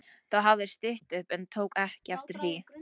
Þá hafði stytt upp en hann tók ekki eftir því.